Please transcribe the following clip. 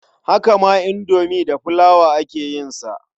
Haka ma indomi da flour aka yin sa.